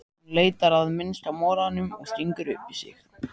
Hún leitar að minnsta molanum og stingur upp í sig.